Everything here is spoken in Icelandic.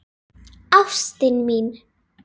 Ástin mín!